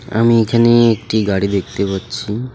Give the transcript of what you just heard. আমি এখানে একটি গাড়ি দেখতে পাচ্ছি।